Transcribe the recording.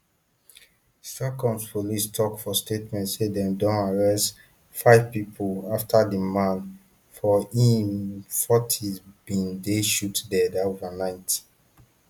stockholm police tok for statement say dem don arrest five pipo afta di man for im um fortys bin dey shot dead overnight